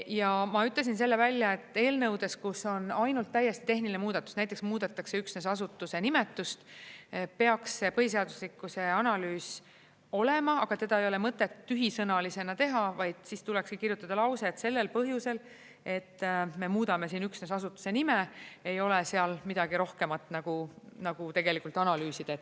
Ja ma ütlesin selle välja, et eelnõudes, kus on ainult täiesti tehniline muudatus, näiteks muudetakse üksnes asutuse nimetust, peaks põhiseaduslikkuse analüüs olema, aga teda ei ole mõtet tühisõnalisena teha, vaid siis tulekski kirjutada lause, et sellel põhjusel, et me muudame siin üksnes asutuse nime, ei ole seal midagi rohkemat nagu tegelikult analüüsida.